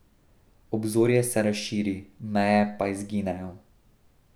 Obzorje se razširi, meje pa izginejo.